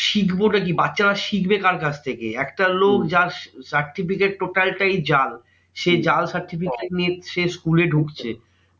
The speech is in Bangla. শিখবো টা কি? বাচ্চারা শিখবে কার কাছ থেকে? একটা লোক যার certificate total টাই জাল। সেই জাল certificate নিয়ে সে school এ ঢুকছে।